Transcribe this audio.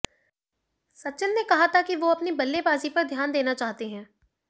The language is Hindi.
सचिन ने कहा था कि वो अपनी बल्लेबाजी पर ध्यान देना चाहते हैं